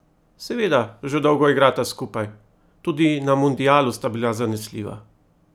Seveda, že dolgo igrata skupaj, tudi na mundialu sta bila zanesljiva.